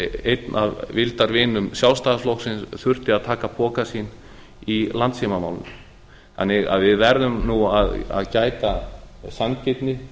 einn af vildarvinum sjálfstæðisflokksins þurfti að taka pokann sinn í landssímamálinu þannig að við verðum að gæta sanngirni